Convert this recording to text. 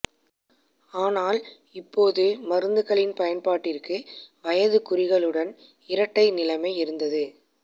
ஆனால் இப்போது மருந்துகளின் பயன்பாட்டிற்கு வயதைக் குறிகளுடன் இரட்டை நிலைமை இருந்தது